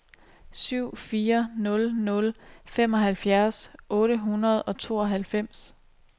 syv fire nul nul femoghalvfjerds otte hundrede og tooghalvfems